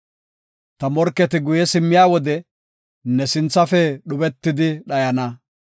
Ta morketi guye simmiya wode, ne sinthafe dhubetidi dhayana.